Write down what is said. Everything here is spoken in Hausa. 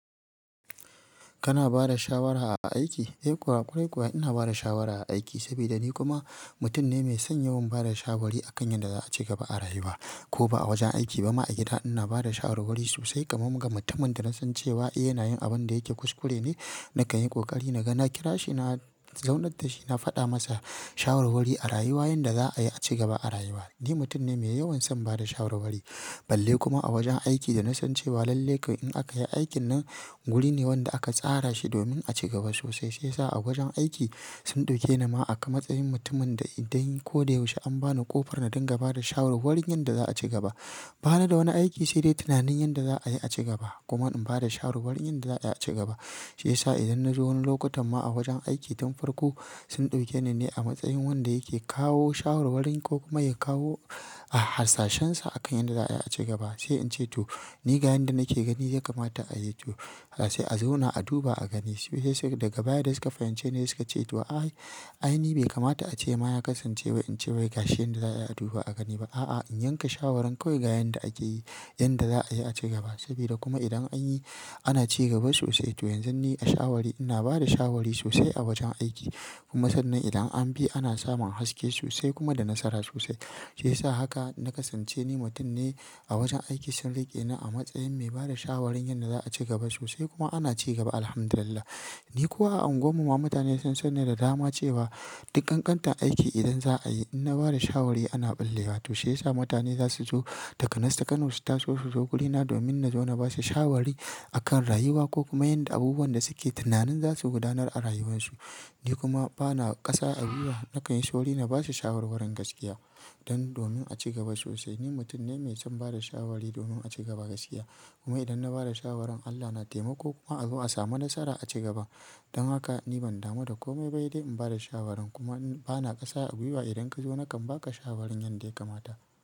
Kana ba da shawara a aiki? Eh kuwa, ƙwarai kuwa ina ba da shawara a aiki saboda ni kuma mutum ne mai son yawan ba da shawarwari a kan yadda za a ci gaba a rayuwa ko ba a wajen aiki ba ma a gida ina ba da shawarwari sosai. Kaman muga mutumin da na san cewa eh yana yin abin da yake kuskure ne, na kanyi kokari na ga na kira shi, na zaunar da shi, na faɗa masa shawarwari a rayuwa yadda za a yi a ci gaba a rayuwa. Ni mutum ne mai yawan son ba da shawarwari. Balle kuma a wajen aiki da na san cewa lallai ka in aka yi aikin nan, guri ne wanda aka tsara shi domin a ci gaba sosai. Shiya sa a wajen aiki sun ɗauke ni ma akan matsayin mutumin da idan ko da yaushe an bani ƙofar na dinga ba da shawarwarin yadda za a ci gaba. Ba ni da wani aiki sai dai tunanin yadda za a yi a ci gaba. Kuma in ba da shawarwarin yadda za a yi a ci gaba. Shiyasa idan na zo wani lokutan ma a wajen aiki don farko sun ɗauke ni ne a matsayin wanda yake kawo shawarwarin ko kuma ya kawo, ah harsashensa a kan yadda za a yi a ci gaba. Sai in ce to ni ga yanda nake gani ya kamata a yi to har sai a zauna a duba a gani. Sai sai daga baya da suka fahimce ni suka ce to ai, ai ni bai kamata a ce ma ya kasance wai in ce wai gashi yanda za a yi a duba a gani ba. A'a, in yanka shawaran kawai ga yanda akeyi, yanda za a yi a ci gaba. Sabida kuma idan an yi ana ci gaba sosai. To yanzu ni a shawari ina ba da shawari sosai a wajen aiki. Kuma sannan idan an bi ana samun haske sosai kuma da nasara sosai. Sai sa haka na kasance ni mutun ne a wajen aiki sun rike ni a matsayin mai bada shawarin yadda za a ci gaba sosai kuma ana cigaba. Alhamdulillah. Ni ko a anguwammu ma mutane sun san ni da dama cewa dukkan kantar aiki idan za a yi, ina ba da shawari ana ɓullewa. To shiyasa mutane za su zo takanas ta Kano su taso su zo guri na domin na zo na ba su shawari a kan rayuwa ko kuma yanda abubuwan da suke tunanin za su gudanar a rayuwarsu. Ni kuma bana ƙasa a biya. Na kan yi sauri na ba su shawarwarin gaskiya don domin a ci gaba sosai. Ni mutum ne mai son bada shawari domin a ci gaba gaskiya. Kuma idan na bada shawaran Allah na taimako kuma a zo a samu nasara a ci gaba. Don haka ni ban damu da kome ba sai dai in bada shawaran kuma bana ƙasa a gwiwa idan ka zo na kan baka shawarin yanda ya kamata.